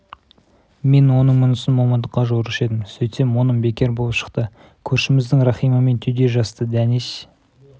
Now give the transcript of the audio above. мен оның мұнысын момындыққа жорушы едім сөйтсем оным бекер болып шықты көршіміздің рахимамен түйдей жасты дәнеш